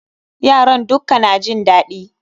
Yaran dukka na jin daɗi